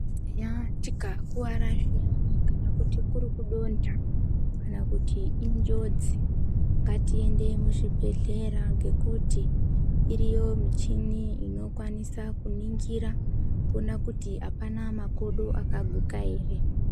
Eyaa tikakuwara zviyani kana kuti kuri kudonha kana kuti injodzi, ngatiende muzvibhedhlera. Ngekuti iriyo michini inokwanisa kuningira kuona kuti apana makodo akaguka ere.